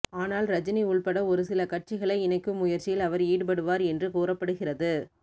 ஆனால் ரஜினி உள்பட ஒருசில கட்சிகளை இணைக்கும் முயற்சியில் அவர் ஈடுபடுவார் என்று கூறப்படுகிறது